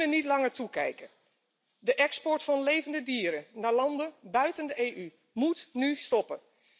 We kunnen niet langer toekijken. De export van levende dieren naar landen buiten de EU moet nu stoppen.